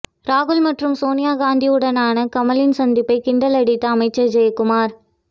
ராகுல் மற்றும் சோனியா காந்தியுடனான கமலின் சந்திப்பை கிண்டலடித்த அமைச்சர் ஜெயக்குமார்